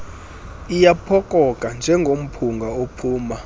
iyaphokoka njengomphunga ophuma